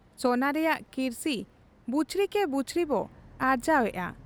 ᱥᱚᱱᱟ ᱨᱮᱭᱟᱝ ᱠᱤᱨᱥᱤ ᱵᱩᱪᱷᱨᱤᱠᱮ ᱵᱩᱪᱷᱨᱤᱵᱚ ᱟᱨᱡᱟᱣᱮᱜ ᱟ ᱾